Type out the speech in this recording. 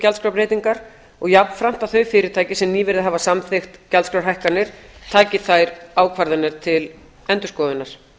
gjaldskrárbreytingar og jafnframt að þau fyrirtæki sem nýverið hafa samþykkt gjaldskrárhækkanir taki þær ákvarðanir til endurskoðunar